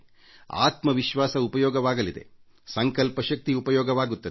ಆತ್ಮವಿಶ್ವಾಸ ಉಪಯೋಗವಾಗುತ್ತದೆ ಸಂಕಲ್ಪ ಶಕ್ತಿ ಉಪಯೋಗಕ್ಕೆ ಬರುತ್ತದೆ